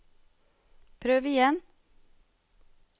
prøv igjen